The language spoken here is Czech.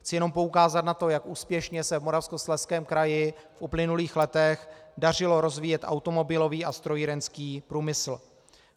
Chci jenom poukázat na to, jak úspěšně se v Moravskoslezském kraji v uplynulých letech dařilo rozvíjet automobilový a strojírenský průmysl.